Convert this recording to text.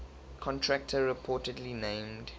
contractor reportedly named